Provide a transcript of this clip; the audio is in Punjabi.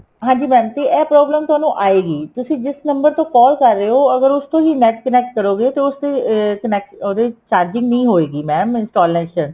ਹਾਂਜੀ mam ਤੇ ਇਹ problem ਤੁਹਾਨੂੰ ਆਏਗੀ ਤੁਸੀਂ ਜਿਸ number ਤੋਂ call ਕਰ ਰਹੇ ਓ ਅਗਰ ਉਸ ਤੋਂ ਹੀ NET connect ਕਰੋਗੇ ਤੇ ਉਸ ਦੇ connect ਉਹਦੇ ਵਿੱਚ charging ਨਹੀਂ ਹੋਏ ਗੀ mam installation